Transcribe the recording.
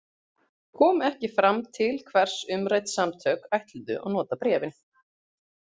Kom ekki fram til hvers umrædd samtök ætluðu að nota bréfin.